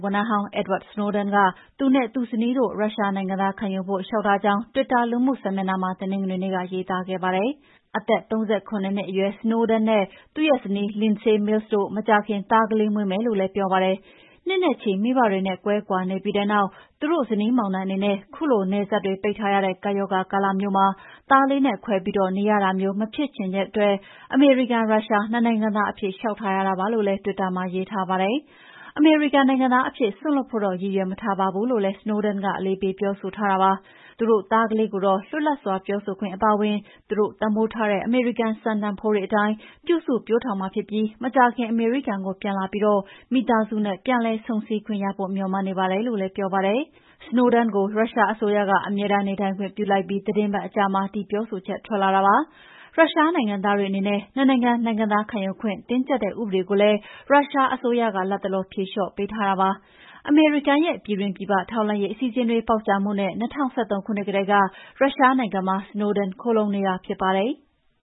ဝန်ထမ်းဟောင်း Edward Snowden က သူနဲ့ သူ့ဇနီးတို့ ရုရှားနိုင်ငံသားခံယူဖို့ လေ ျှာက်ထားကြောင်း တွစ်တာလူမှုစာမျက်နှာမှာ တနင်္လာနေ့ကရေးသားခဲ့ပါတယ်။ အသက် ၃၇ နှစ်အရွယ် Snowden နဲ့ သူ့ဇနီး Lindsay Mills တို့မကြာခင် သားကလေးမွေးမယ်လို့လည်းပြောပါတယ်။ နှစ်နဲ့ချီ မိဘတွေနဲ့ ကွဲကွာနေပြီးတဲ့နောက် သူတို့ဇနီးမောင်နှံအနေနဲ့ ခုလိုနယ်စပ်တွေ ပိတ်ထားရတဲ့ ကပ်ရောဂါကာလမှာ သားလေးနဲ့ ခွဲပြီးနေရရတာ မျိုး မဖြစ်ချင်တဲ့အတွက် အမေရိကန်- ရုရှား နှစ်နိုင်ငံသားအဖြစ် လေ ျှာက်ထားရတာပါလို့လည်း တွစ်တာမှာရေးထားပါတယ်။ အမေရိကန်နိုင်ငံသားအဖြစ် စွန့်လွှတ်ဖို့တော့ ရည်ရွယ်မထားပါဘူးလို့လည်း Snowden က အလေးပေးပြောဆိုထားတာပါ။ သူတို့သားကလေးကိုတော့ လွတ်လပ်စွာပြောဆိုခွင့်အပါအဝင် သူတို့ တန်ဖိုးထားတဲ့ အမေရိကန်စံတန်ဖိုးတွေအတိုင်း ပြုစုပျိုးထောင်မှာဖြစ်ပြီး မကြာခင် အမေရိကန်ကို ပြန်လာပြီး မိသားစုနဲ့ ပြန်လည်ဆုံဆည်းခွင့်ရဖို့ မေ ျှာ်မှန်းနေပါတယ်လို့လည်း ပြောပါတယ်။ Snowden ကို ရုရှားအစိုးရက အမြဲတမ်းနေထိုင်ခွင့်ပြုလိုက်ပြီး သီတင်းပတ်အကြာမှာ ဒီပြောဆိုချက်ထွက်လာတာပါ။ ရုရှားနိုင်ငံသားတွေအနေနဲ့ နှစ်နိုင်ငံ နိုင်ငံသားခံယူခွင့် တင်းကြပ်တဲ့ ဥပဒေကိုလည်း ရုရှားအစိုးရက လတ်တလောဖြေလျော့ပေးထားတာဖြစ်ပါတယ်။ အမေရိကန်ရဲ့ ပြည်တွင်းပြည်ပ ထောက်လှမ်းရေးအစီအစဉ်တွေ ပေါက်ကြားမှုနဲ့ ၂၀၁၃ ခုနှစ်ကတည်းက ရုရှားနိုင်ငံမှာ Snowden ခိုလှုံနေတာဖြစ်ပါတယ်။